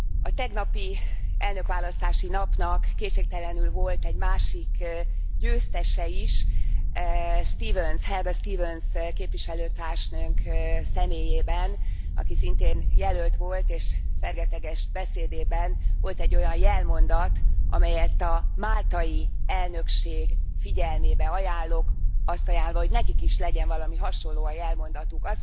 A tegnapi elnökválasztási napnak kétségtelenül volt egy másik győztese is Helga Stevens képviselőtársnőnk személyében, aki szintén jelölt volt, és fergeteges beszédében volt egy olyan jelmondat, amelyet a máltai elnökség figyelmébe ajánlok, azt ajánlva, hogy nekik is legyen valami hasonló a jelmondatuk.